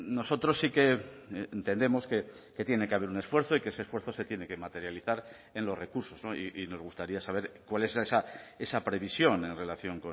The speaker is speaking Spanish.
nosotros sí que entendemos que tiene que haber un esfuerzo y que ese esfuerzo se tiene que materializar en los recursos y nos gustaría saber cuál es esa previsión en relación